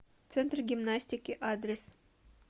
центр гимнастики адрес